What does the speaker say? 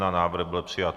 Návrh byl přijat.